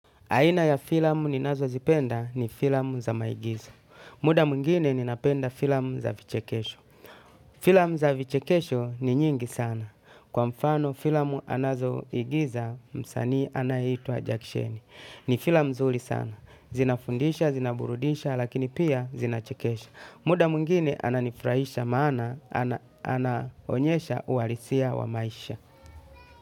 Aina ya filamu ninazo zipenda ni filamu za maigizo. Muda mwingine ninapenda filamu za vichekesho. Filamu za vichekesho ni nyingi sana. Kwa mfano filamu anazo igiza, msanii anahitwa Jackchan. Ni filam zuri sana. Zinafundisha, zinaburudisha lakini pia Zinachekesha. Muda mwingine ananifurahisha maana, ananonyesha uhalisia wa maisha.